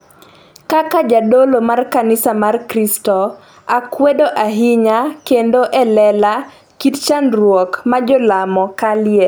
kaka jadolo mar kanisa mar kristo, akwedo ahinya kendo e lela kit chandruok ma jolamo kaleye